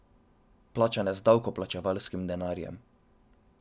Plačane z davkoplačevalskim denarjem.